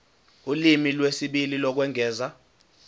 ulimi lwesibili lokwengeza